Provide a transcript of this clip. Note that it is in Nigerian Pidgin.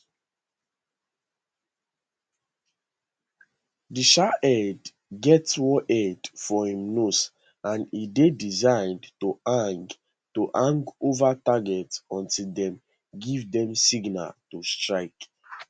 di shahed get warhead for im nose and e dey designed to hang to hang ova target until dem give dem signal to strike